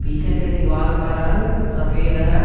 पीछे के दीवाल का रंग सफेद है।